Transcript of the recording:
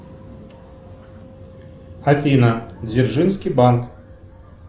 афина дзержинский банк